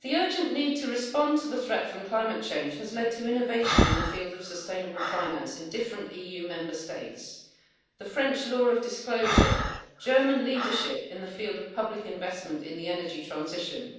The urgent need to respond to the threat from climate change has led to innovation in the field of sustainable finance in different EU Member States the French law of disclosure, German leadership in the field of public investment in the energy transition,